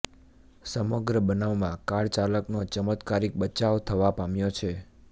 સમગ્ર બનાવમાં કાર ચાલકનો ચમત્કારિક બચાવ થવા પામ્યો છે